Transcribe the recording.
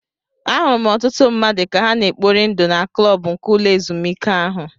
Ahụrụ m ọtụtụ mmadụ ka ha na-ekpori ndụ na klọb nke ụlọ ezụmike ahụ.